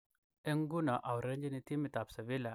Eng nguno aurerenjini timit ab Sevilla ab Spain.